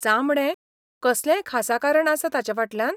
चामडें? कसलेंय खासा कारण आसा ताचेफाटल्यान?